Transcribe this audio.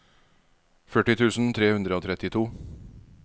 førti tusen tre hundre og trettito